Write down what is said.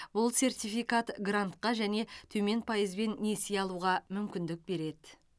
бұл сертификат грантқа және төмен пайызбен несие алуға мүмкіндік береді